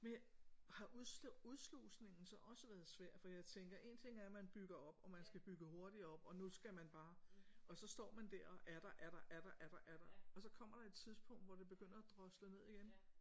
Men har udslå udslusningen så også været svær for jeg tænker en ting er at man bygger op og man skal bygge hurtigere op og nu skal man bare og så står man der og er der er der er der er der er der og så kommer der et tidspunkt hvor det begynder at drosle ned igen